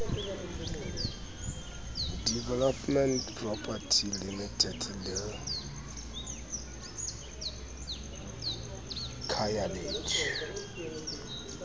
developments pty limited le khayalethu